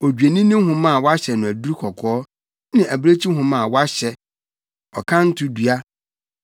odwennini nwoma a wɔahyɛ no aduru kɔkɔɔ ne abirekyi nwoma a wɔahyɛ, ɔkanto dua;